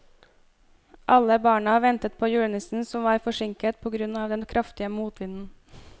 Alle barna ventet på julenissen, som var forsinket på grunn av den kraftige motvinden.